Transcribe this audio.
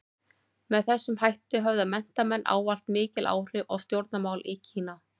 Með þessum hætti höfðu menntamenn ávallt mikil áhrif á stjórnmál í Kína.